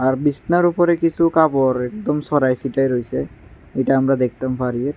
আর বিছনার উপরে কিছু কাপড় একদম ছড়াই ছিটাই রইছে এটা আমরা দেখতাম পারি।